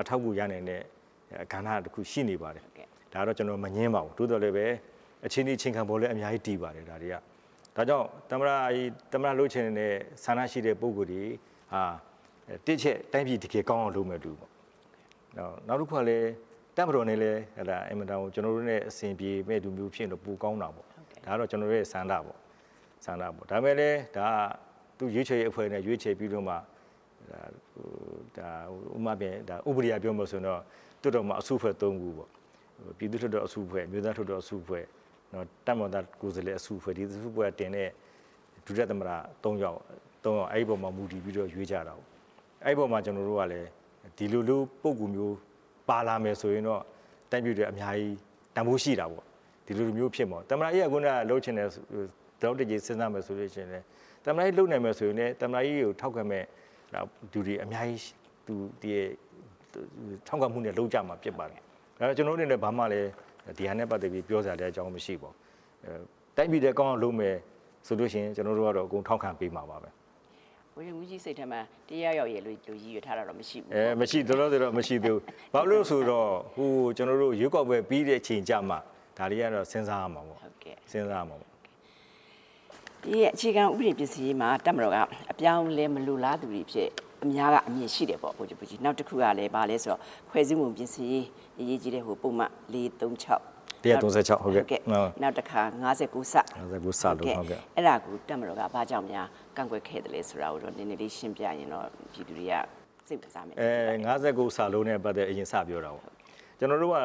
အထောက်အကူရနိုင်မယ့် ကဏ္ဍတစ်ခုရှိနေပါတယ်။ ဒါကိုတော့ ကျနော်မငြင်းပါဘူး။ သို့သော်လည်းပဲ အခြေနေအချိန်ခါပေါ်လည်း အများကြီးတည်ပါတယ်။ ဒါကြောင့် သမ္မတလုပ်ချင်တဲ့ဆန္ဒရှိတဲ့ ပုဂ္ဂိုလ်တွေဟာ တစ်အချက် တိုင်းပြည်တကယ်ကောင်းအောင်လုပ်မယ့်သူ နောက်တစ်ခုကလည်း တပ်မတော်နဲ့လည်း ကျနော်တို့နဲ့ အဆင်ပြေမယ့်သူမျိုးဖြစ်ရင်တော့ ပိုကောင်းတာပေါ့။ ဒါကတော့ ကျနော်တို့ရဲ့ဆန္ဒပေါ့။ ဒါပေမဲ့လည်း သူရွေးချယ်ရွေး အဖွဲ့နဲ့ ရွေးချယ်ပြီးတော့မှ ဥပဒေအရ ပြောမယ်ဆိုရင် လွတ်တော်မှာ အစုအဖွဲ့သုံးခုပေါ့။ ပြည်သူ့လွှတ်တော်အစုအဖွဲ့ အမျိုးသားလွှတ်တော်အစုအဖွဲ့ တပ်မတော်သားကိုယ်စားလှယ်အစုအဖွဲ့ ဒီအစုအဖွဲ့ကတင်တဲ့ ဒုတိယသမ္မတ သုံးယောက် အဲ့အပေါ်မှာ မူတည်ပြီးတော့ရွေးရတာပေါ့။ အဲ့ဒီအပေါ်မှာ ကျနော်တို့ကလည်း ဒီလိုမျိုးပုဂ္ဂိုလ်မျိုး ပါလာမယ်ဆိုရင်တော့ တိုင်းပြည်အတွက် အများကြီးတန်ဖိုးရှိတာပေါ့။ သမ္မတကြီးက ခုနကလိုနောက်တချိန် စဉ်းစားလို့ရှိရင်လည်း သမ္မတကြီးလုပ်နိုင်မယ်ဆိုလို့ရှိရင်လည်း သမ္မတကြီးကိုထောက်ခံမှုနဲ့လုပ်ကြမှာဖြစ်ပါတယ်။ ကျနော်တို့အနေနဲ့ ဒီဟာနဲ့ပတ်သက်ပြီး ပြောစရာအကြောင်းလည်းမရှိပါဘူး။ တိုင်းပြည်အတွက် ကောင်းအောင် လုပ်မယ်ဆိုလို့ရှိရင် ကျနော်တို့ကတော့ အကုန်ထောက်ခံပေးမှာပဲ။ ဗိုလ်ချုပ်မှူးကြီးစိတ်ထဲမှာ တစ်ယောက်ယောက်ရယ်လို့ ရည်ရွယ်ထားတာတော့ မရှိသေးဘူးပေါ့။ လောလောဆယ်တော့ မရှိသေးဘူး။ ဘာဖြစ်လို့လဲဆိုတော့ ကျနော်တို့ ရွေးကောက်ပွဲပြီးတဲ့အချိန်ကျမှ ဒါတွေက စဉ်းစားရမှာပေါ့။ အခြေခံဥပဒေပြင်ဆင်ရေးမှာ တပ်မတော်ကအပြောင်းအလဲ မလိုလားသူတွေအဖြစ် အများကအမြင်ရှိတယ်ပေါ့ ဗိုလ်ချုပ်မှူးကြီး။ နောက်တစ်ခုကလည်း ဘာလဲဆိုတော့ ဖွဲ့စည်းပုံပြင်ဆင်ရေး ပုဒ်မ ၄၃၆ နောက်တစ်ခါ ၅၉ ကို အဲ့ဒါကို တပ်မတော်က ဘာကြောင့်များ ကန့်ကွက်ခဲ့သလဲဆိုတာကိုတော့ နည်းနည်းလေးရှင်းပြရင်တော့ ပြည်သူတွေစိတ်ဝင်စားမယ်ထင်တယ်။ ၅၉ နဲ့ပတ်သက်ပြီး အရင်စပြောတာပေါ့ ။ ကျနော်တို့က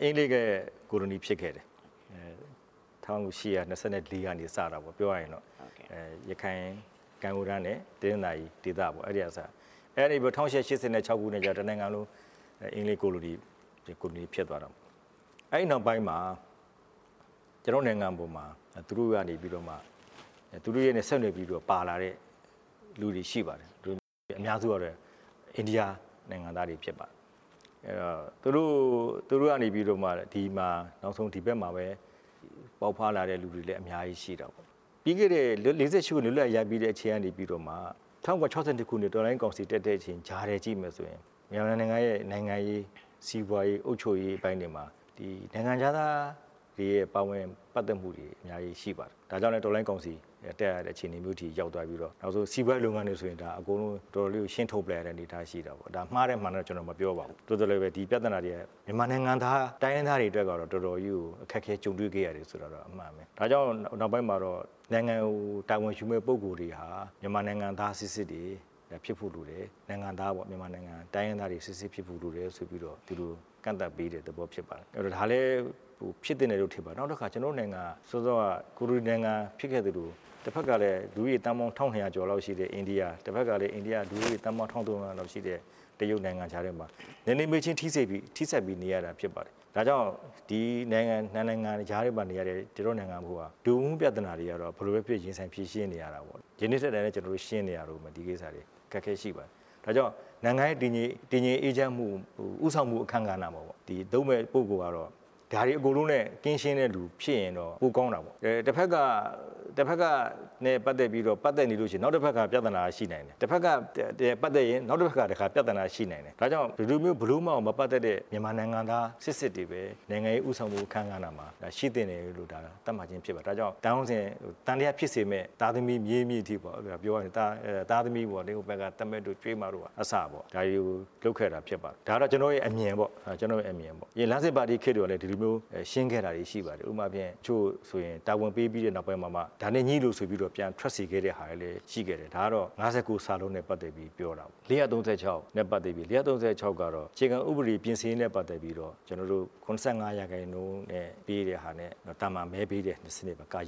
အင်္ဂလိပ်ရဲ့ကိုလိုနီဖြစ်ခဲ့တယ်။ ၁၈၂၄ ကစတာပေါ့ ပြောရရင်တော့ ရခိုင်ကမ်းရိုးတန်းနဲ့ တနင်္သာရီဒေသ အဲ့ဒီကစခဲ့တာပေါ့။ ၁၈၈၆ ခုနှစ်ကျတော့ တစ်နိုင်ငံလုံး အင်္ဂလိပ်ကိုလိုနီအဖြစ် ဖြစ်သွားတာပေါ့။အဲ့ဒီနောက်ပိုင်းမှာ ကျနော်တို့နိုင်ငံပေါ်မှာ သူတို့နဲ့ဆက်နွယ်ပြီးတော့ ပါလာတဲ့လူတွေရှိပါတယ်။ အများစုကတော့ အိန္ဒိယနိုင်ငံ သားတွေဖြစ်ပါတယ်။ သူတို့ကနေပြီးတော့မှာ ဒီဘက်မှာပဲ ပေါက်ဖွားလာတဲ့သူတွေလည်း အများကြီးရှိတာပေါ့။ ၄၈ ခုနှစ် လွတ်လပ်ရေးရပြီးတဲ့ အချိန်ကနေပြီးတော့ ၁၉၆၂ ခုနှစ် တော်လှန်ရေးကောင်စီတက်ခဲ့တဲ့ အချိန်ကြားထဲကြည့် မယ်ဆိုရင် မြန်မာနိုင်ငံရဲ့ နိုင်ငံရေး စီးပွားရေး အုပ်ချုပ်ရေးပိုင်းတွေမှာ နိုင်ငံခြားသားတွေရဲ့ ပါဝင်ပတ်သက်မှုတွေ အများကြီးရှိပါတယယ်။ ဒါကြောင့်လည်းပဲ တော်လှန်ရေးကောင်စီ တက်ရတဲ့အခြေနေမျိုးအထိ ရောက်သွား ပြီးတော့ နောက်ပိုင်းစီးပွားရေးလုပ်ငန်းတွေဆိုရင် အကုန်လုံးကို ရှင်းထုတ်ပစ်လိုက်တဲ့ အနေအထားရှိတယ်။ မှားတယ် မှန်တယ် ကျနော်မပြောပါဘူး။ သို့သော်လည်းပဲ ဒီပြဿနာတွေက မြန်မာနိုင်ငံသား တိုင်းရင်းသားတွေအတွက် အခက်အခဲအများကြီး ကြုံတွေခဲ့ရတယ်ဆိုတာတော့ အမှန်ပါပဲ။ ဒါကြောင့်မို့ နောက်ပိုင်းမှာတော့ နိုင်ငံကို တာဝန်ယူမယ့်ပုဂ္ဂိုလ်တွေဟာ မြန်မာနိုင်ငံသားစစ်စစ်တွေဖြစ်ဖို့လိုတယ်။ တိုင်းရင်းသားတွေ စစ်စစ်ဖြစ်ဖို့ဆိုပြီး သူတို့ ကန့်သတ်ပေးတဲ့သဘောဖြစ်တယ်။ ဒါလည်းဖြစ်သင့်တယ်လို့ထင်ပါတယ်။ နောက်တစ်ခါ ကျနော်တို့နိုင်ငံဟာ ကိုလိုနီနိုင်ငံဖြစ်ခဲ့သလို တဘက်ကလည်း လူဦးရေ သန်းပေါင်း ၁၂၀၀ ကျော်လောက်ရှိခဲ့တဲ့ အိန္ဒိယ၊ တဘက်က လူဦးရေ ၁၃၀၀ ကျော်လောက်ရှိတဲ့ တရုတ်နိုင်ငံခြားထဲမှာ နယ်နိမိတ်ချင်းထိဆက်ပြီးနေရတာဖြစ်ပါတယ်။ ဒါကြောင့် ဒီနိုင်ငံတွေကြားမှာနေရတဲ့ ကျနော်တို့နိုင်ငံဟာ လူမှုပြဿနာတွေကတော့ ဘယ်လိုပဲဖြစ်ဖြစ်ရင်ဆိုင်ဖြေရှင်းရတာပေါ့။ ဒီနေ့ထက်တိုင်လည်း ရင်ဆိုင်ဖြေရှင်းရတာပေါ့။ ဒါကြောင့်နိုင်ငံရဲ့တည်ငြိမ်အေးချမ်းမှု ဦးဆောင်မှုအခန်းကဏ္ဍကို လုပ်မယ့် ပုဂ္ဂိုလ်ကတော့ ဒါတွေအကုန်လုံးနဲ့ ကင်းရှင်းတဲ့လူဖြစ်ရင်တော့ ပိုကောင်းတာပေါ့။ တဘက်က တဘက်နဲ့ ပတ်သက်နေရင် နောက်တဘက်က ပြဿနာရှိနေနိုင်တယ်။ တဘက်ကနဲ့ ပတ်သက်ရင် နောက်တဘက်က ပြဿနာရှိနိုင် တယ်။ ဒါကြောင့် ဒီလိုမျိုးဘယ်လိုမှမပတ်သက်တဲ့ နိုင်ငံသားစစ်စစ်ကိုပဲ နိုင်ငံရေးဦးဆောင်မှုအခန်းကဏ္ဍမှာ ရှိသင့်တယ်လို့ သတ်မှတ်ထားခြင်းဖြစ်ပါတယ်။ ဒါကြောင့် သံသယဖြစ်စေမယ့် သားသမီး မြေး မြစ်အထိပေါ့။ ပြော ရရင် ဟိုဘက်က ချွေးမ သမက်တို့က အစပေါ့။ဒါတွေကိုလုပ်ခဲ့တာဖြစ်ပါတယ်။ ဒါက ကျွန်တော်ရဲ့အမြင်ပေါ့။ လမ်းစဉ်ပါတီခေတ်တုန်းကလည်း ဒီလိုမျိုးရှင်းခဲ့တာတွေရှိပါတယ်။ တချို့ဆိုရင်တာဝန်ပေးပြီးမှ ဒါနဲ့ညှိလို့ဆိုပြီး ပြန် ထွက်စေခဲ့တဲ့ဟာတွေလည်းရှိပါတယ်။ ဒါကတော့ ၅၉ နဲ့ ပတ်သက်ပြီးပြောတာပေါ့။ ၄၃၆ နဲ့ပတ်သက်ပြီး အခြေခံဥပဒေပြင်ဆင်ရေးနဲ့ ပတ်သက်ပြီး ကျနော်တို့ ၇၅ ရာခိုင်နှုန်းမဲပေးတာနဲ့ သာမန်မဲပေးတာတဲ့စနစ် နဲ့ ခွဲ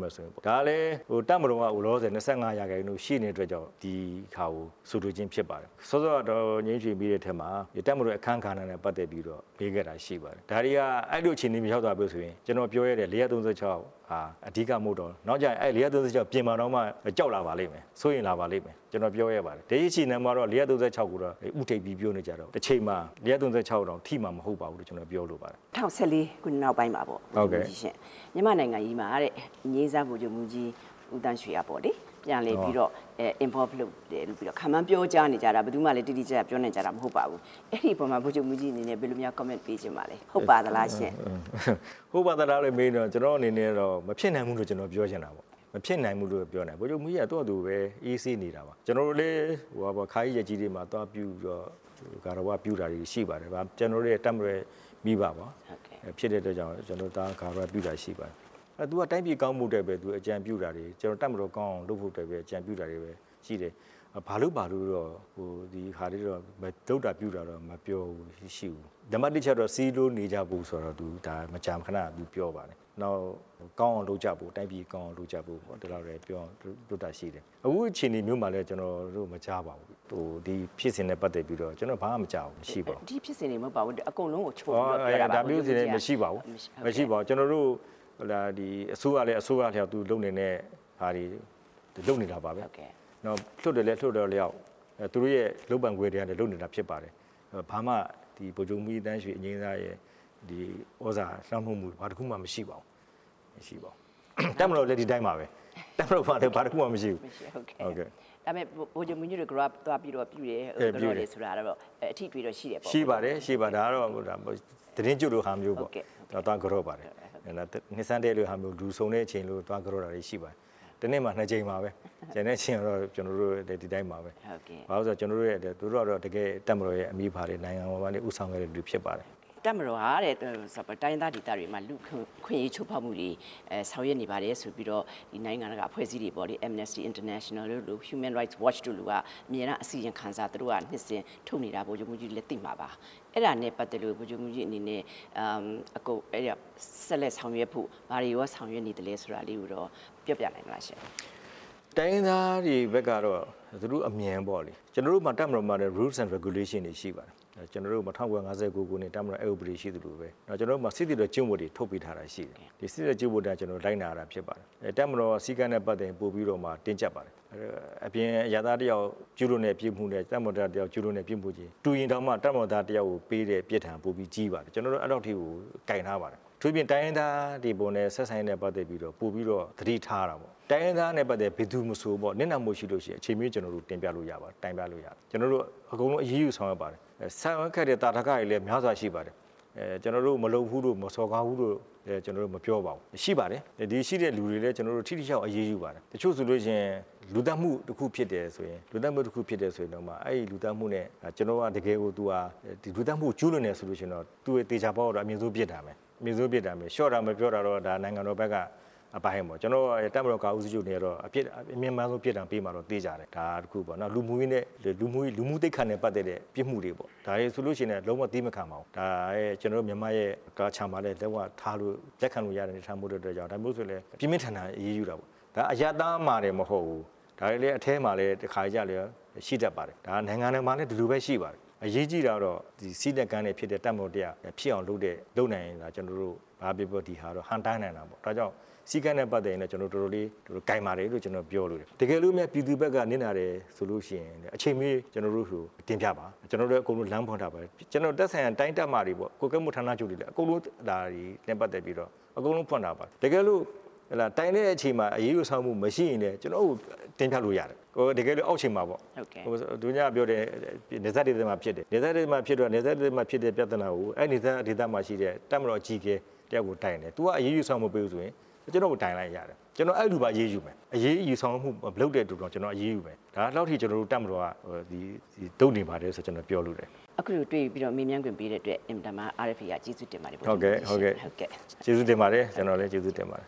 မယ့်စနစ်ပေါ့။ ဒါကလည်း တပ်မတော်က လောလောဆယ် ၂၅ရာခိုင်နှုန်းရှိတဲ့အတွက်ကြောင့် ဒီဟာကို ဆိုလိုခြင်းဖြစ်ပါတယ်။ စောစောက ဒေါ်ညိမ်းရွှေ မေးတဲ့ထဲမှာ တပ်မတော်ရဲ့ အခန်းကဏ္ဍနဲ့ ပတ်သက်ပြီး မေးခဲ့တာ ရှိပါတယ်။ ဒါတွေဟာအဲ့လို အခြေနေမျိုး မရောက်လာဘူးဆိုရင် ကျနော်ပြောရဲတယ် ၄၃၆ က အဓိကမဟုတ်တော့ ဘူး။ နောက်ကျရင် ၄၃၆ ပြင်မှာကိုတောင် ကြောက်လာပါလိမ့်မယ် စိုးရိမ်လာပါလိမ့်မယ်။ ကျနော်ပြောရဲပါတယ်။ ဒီနေ့ဒီအချိန်မှာတော့ ၄၃၆ ကို ဦးတိုက်ပြီးပြောနေကြတာပေါ့။ တချိန်မှာ ၄၃၆ ကိုတောင်ထိမှာမဟုတ်ပါဘူးလို့ ကျနော်ပြောလိုပါတယ်။ ၂ဝ၁၄ ခုနှစ်နောက်ပိုင်း မြန်မာ့နိုင်ငံရေးမှာ အငြိမ်းစား ဗိုလ်ချုပ်မှူးကြီး ဦးသန်းရွှေက ပြန်လည်ပြီး Involve လုပ်တယ်လို့ ခန့်မှန်းပြောကြားနေကြတာ ဘယ်သူမှလည်း တိတိကျကျပြောနိုင်ကြတာ မဟုတ်ပါဘူး။ အဲ့ဒီအပေါ်မှာ ဗိုလ်ချုပ်မှူးကြီးအနေနဲ့ ဘယ်လိုများ ကွန်မန့်ပေးချင်ပါသလဲ။ ဟုတ်ပါသလားရှင့်။ ဟုတ်ပါသလားလို့မေးရင်တော့ ကျနော်အနေနဲ့ကတော့ မဖြစ်နိုင်ဘူးလို့ ကျနော်ကပြောချင်တာ၊ ဗိုလ်ချုပ်မှူးကြီးက သူ့ဟာသူပဲ အေးဆေးနေတာပါ၊ ကျနော်တို့လည်း အခါကြီးရက်ကြီးတွေမှာ သွားပြီးတော့ ဂါရဝပြု တာတွေရှိပါတယ်၊ ကျနော်တို့ရဲ့ တပ်မတော်ရဲ့မိဘဖြစ်တဲ့အတွက်ကြောင့် ကျနော်တို့ သွားရောက်ဂါရဝပြု တာတွေရှိပါတယ်၊ သူကတိုင်းပြည်ကောင်းဖို့အတွက်ပဲ သူအကြံပြုတာတွေ ကျနော်တို့ တပ်မတော်ကောင်းအောင်လုပ်ဖို့အတွက် အကြံပြုတာတွေပဲရှိတယ်၊ ဘာလုပ်ပါလို့တော့ ဒီဟာတွေကိုတော့ လုပ်တာပြုတာတော့မပြောဘူး မရှိဘူး၊ နံပါတ် ၂ အချက်ကတော့ စည်းစည်းလုံးလုံးနေကြဖို့ သူမကြာခဏပြော ပါတယ် နောက်တိုင်းပြည်ကောင်းအောင်လုပ်ကြဖို့ ဒီလောက်ပဲပြောပါတယ်၊ အခုအခြအနေမျိုးမှာလည်း ကျနော်တို့ ဒီဖြစ်စဉ်နဲ့ပတ်သက်ပြီးတော့လည်း ကျနော်တို့ဘာမှမကြားပါဘူး၊ အစိုးရလည်း အစိုးရအလျောက် သူလုပ်နိုင်တဲ့ ဟာတွေ လုပ်နေတာပါပဲ။ လွှတ်တော်လည်း လွှတ်တော်အလျောက် သူတို့ရဲ့ လုပ်ပိုင်ခွင့်ထဲက လုပ်နေတာဖြစ် ပါတယ်၊ ဘာမှ ဗိုလ်ချုပ်မှူးကြီး သန်းရွှေ ရဲ့ သြဇာလွှမ်းမိုးမှု ဘာတစ်ခုမှမရှိပါဘူး။ မရှိပါဘူး။ တပ်မတော်လည်းဒီအတိုင်းပါပဲ။ တပ်မတော်မှာလည်းဘာတစ်ခုမရှိဘူး။ ဗိုလ်ချုပ်မှူးကြီးကို သွားဂါဝရပြုတယ်ဆိုတော့ အထိအတွေ့တော့ရှိသေးတာပေါ့ ရှိပါတယ်။ ရှိပါတယ်။ ဒါကလည်း သီတင်းကျွတ်လိုဟာမျိုး၊ နှစ်ဆန်းတစ်ရက် လိုဟာမျိုး လူစုံတဲ့အခါ သွားကန်တော့ပါတယ်။ တစ်နှစ်မှာ နှစ်ကြိမ်ပါပဲ။ ကျန်တဲ့အချိန်က ကျနော်တို့လည်းဒီတိုင်းပါပဲ။ ဘာဖြစ်လို့လဲဆိုတော့ သူတို့ကတပ်မတော်ရဲ့အမိအဖတွေ နိုင်ငံတော်ကို ဦးဆောင်ခဲ့တဲ့သူတွေဖြစ်ပါတယ်။ တပ်မတော်က တိုင်းရင်းသားဒေသတွေမှာ လူ့အခွင့်အရေးချိုးဖောက်မှုတွေ ဆောင်ရွက်နေပါတယ်လို့ နိုင်ငံတကာအဖွဲ့အစည်းတွေပေါ့နော် Amnesty International၊ Human Rights Watch တို့က အမြဲတမ်းအစီရင်ခံစာ သူတို့ကထုတ်နေတာကို ဗိုလ်ချုပ်မှူးကြီးလည်းသိမှာပါ။ အဲ့ဒါနဲ့ပတ်သက်ပြီး ဗိုလ်ချုပ်မှူးကြီးအနေနဲ့ ဆက်လက်ဆောင်ရွက်ဖို့ ဘာတွေကိုရော ဆောင်ရွက်နေသလဲဆိုတာ ပြောပြနိုင်မလားရှင့်။ တိုင်းရင်းသားတွေဘက်ကတော့ သူတို့အမြင်ပေါ့လေ။ ကျနော်တို့တပ်မတော်မှာ လည်း Rule And Regulation တွေရှိပါတယ်။ ၁၉၅၂ ခုနှစ် တပ်မတော် အက်ဥပဒေတွေရှိသလို ကျနော်တို့မှာ စစ်သည်တော်ကျင့်ဝတ်တွေ ထုတ်ပေးထားတာရှိပါတယ်။ စစ်သည်တော်ကျင့်ဝတ်အတိုင်း ကျနော်တို့ လိုက်နာရတာဖြစ်ပါတယ်။ တပ်မတော်စည်းကမ်းနဲ့ ပတ်သက်ရင် ပိုပြီးမှတင်းကြပ်ပါတယ်။ အပြင်အရပ်သား တစ်ယောက် ကျူးလွန်တဲ့ပြစ်မှုနဲ့ တပ်မတော်သားတစ်ယောက် ကျူးလွန်တဲ့ပြစ်မှု တူရင်တောင်မှ တပ်မတောင်သား တစ်ယောက်ကိုပေးတဲ့ ပြစ်ဒဏ်ပိုပြီးကြီးပါတယ်။ ကျနော်တို့ အဲ့လောက်ထိကို ကိုင်ထားတယ်။ အထူးသဖြင့် တိုင်းရင်းသားတွေအပေါ် ဆက်ဆံရေးနဲ့ ပတ်သက်ပြီးပိုပြီးတော့ သတိထားရတာပေါ့။ တိုင်းရင်းသားနဲ့ ပတ်သက်ပြီး မည်သူမဆိုပေါ့ နစ်နာမှုရှိရင် အချိန်မရွေး ကျနော်တို့ကိုတင်ပြနိုင်ပါတယ်။ တိုင်နိုင်ပါတယ်။ ကျနော်တို့ အကုန်လုံး အရေးယူဆောင်ရွက်ပါတယ်။ ဆောင်ရွက်ခဲ့တဲ့သာဓကတွေလည်းများစွာရှိပါတယ်၊ ကျနော်တို့မလုပ်ဘူးလို့ မစော်ကားဘူးလို့ ကျနော်တို့မပြောပါဘူး။ ရှိပါတယ်။ ဒီရှိတဲ့လူတွေလည်း ထိထိရောက်ရောက်အရေးယူပါတယ်။ တချို့ဆိုရင် လူသတ်မှုတစ်ခုဖြစ်တယ်ဆိုရင်တောင်မှ သူဟာလူသတ်မှု ကျူးလွန်တယ်ဆိုလို့ရှိရင် သေချာပေါက် ကတော့ အမြင့်ဆုံးအပြစ်ဒဏ်ပဲ။ လျော့တာမလျော့တာကတော့ ဒါနိုင်ငံတော်ဘက်ကအပိုင်းပေါ့။ ကျနော် တပ်မတော်ကာကွယ်ရေးဦးစီးချုပ်အနေနဲ့ကတော့ အမြင့်မားဆုံး ပြစ်ဒဏ်ပေးမှာတော့သေချာတယ်။နောက် လူမှုသိက္ခာနဲ့ ပတ်သက်တဲ့ ပြစ်မှုတွေပေါ့။ ဒါတွေဆိုလို့ရှိရင်လည်း လုံးဝသည်းမခံပါဘူး။ ဒါမြန်မာ cultureမှာလည်း လုံးဝလက်ခံလို့ရတဲ့ဟာမျိုးမဟုတ်တဲ့အတွက်ကြောင့် ဒါမျိုးဆိုရင်လည်း ပြင်းပြင်းထန်ထန်အရေးယူတာပေါ့။ အရပ်သားမှာတင်မကဘူး အထဲမှာလည်း တခါတလေကျရင်ရှိတက်ပါတယ်။ နိုင်ငံတွေမှာလည်း ဒီလိုပဲရှိပါတယ်။ အရေးကြီးတာကတော့ စည်းနဲ့ကမ်းနဲ့ရှိတဲ့ တပ်မတော်တစ်ရပ်လုပ်နိုင်ရင် ဘာပြောပြော ကျနော်တို့ ဒီဟာတော့ ဟန့်တားနိုင်တယ်ပေါ့။ဒါကြောင့် စည်းကမ်းနဲ့ပတ်သက်ရင်လည်း ကျနေ်ာတို့ တော်တေ်ာလေးကိုင်ပါတယ်။ တကယ်လို့ ပြည်သူဘက်ကနစ်နာတယ်ဆိုလို့ရှိရင် အချိန်မရွေး ကျနော်တို့ကိုတင်ပြပါ။ ကျနော်တို့လည်း လမ်းဖွင့် ထားပါတယ်။ သက်ဆိုင်ရာတိုင်းတပ်မတွေပေါ့ ကွပ်ကဲမှုဌာနချုပ်တွေနဲ့ ပတ်သက်ပြီးတော့ အကုန်လုံးလမ်းဖွင့် ထားပါတယ်။ တကယ်လို့တိုင်တဲ့အချိန်မှာ အရေးယူဆောင်ရွက်မှုမရှိရင် ကျနော်ကိုတိုင်လို့ရပါတယ်။ တကယ်လို့အောက်ခြေမှာပေါ့။ နယ်စပ်ဒေသတွေမှာဖြစ်တဲ့ပြဿနာကို အဲ့နယ်စပ်ဒေသမှာရှိတဲ့ တပ်မတော်အကြီးအကဲ တစ်ယောက်ကိုတိုင်တယ်။ သူကအရေးယူဆောင်ရွက်မပေးဘူးဆိုရင် ကျနော့်ကိုတိုင်လိုက်ဗျာ။ ကျနော် အဲ့လူကိုပါအရေးယူမယ်။အရေးယူဆောင်ရွက်မှုမလုပ်တဲ့လူကို ကျနော်အရေးယူမယ်။ ဒီလောက်ထိ ကျနော်တို့ တပ်မတော်က လုပ်နေပါတယ်လို့ ကျနော်ပြောလိုတယ်။ အခုလိုတွေ့ပြီးတော့ မေးမြန်းခွင့်ပေးတဲ့အတွက် အင်မတန်မှ RFA က ကျေးဇူးတင်ပါတယ်။ ဟုတ်ကဲ့ ကျနော်လည်း ကျေးဇူးတင်ပါတယ်